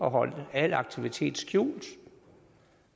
at holde al aktivitet skjult